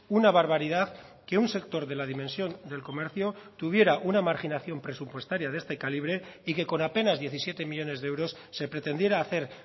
una barbaridad que un sector de la dimensión del comercio tuviera una marginación presupuestaria de este calibre y que con apenas diecisiete millónes de euros se pretendiera hacer